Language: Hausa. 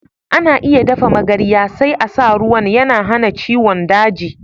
Ana iya dafa magarya, sai a sa ruwan. Yana hana ciwon daji.